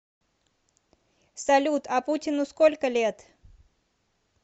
салют а путину сколько лет